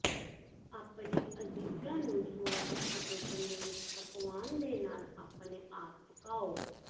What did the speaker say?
ਆਪਣੇ ਅਜ਼ੀਜ਼ਾਂ ਨੂੰ ਸੁਆਦੀ ਅਤੇ ਤੰਦਰੁਸਤ ਪਕਵਾਨ ਦੇ ਨਾਲ ਆਪਣੇ ਆਪ ਪਕਾਉ